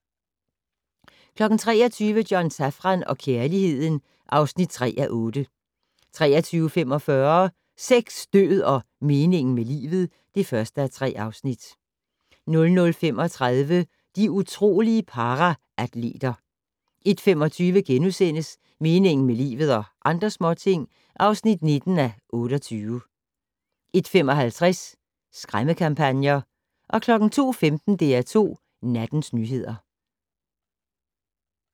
23:00: John Safran og kærligheden (3:8) 23:45: Sex, død og meningen med livet (1:3) 00:35: De utrolige paraatleter 01:25: Meningen med livet - og andre småting (19:28)* 01:55: Skræmmekampagner 02:15: DR2 Nattens nyheder